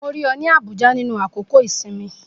Mo rí ọ ní Abuja nínú àkókò-ìsinmi